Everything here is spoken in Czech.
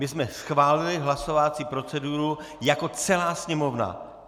My jsme schválili hlasovací proceduru jako celá Sněmovna.